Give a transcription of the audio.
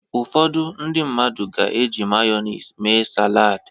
Ụfọdụ ndị mmadụ ga-eji Mayọnis mee salad.